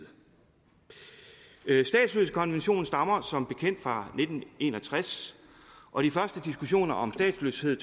statsløsekonventionen stammer som bekendt fra nitten en og tres og de første diskussioner om statsløshed